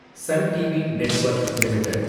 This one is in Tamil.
Sun TV Network limited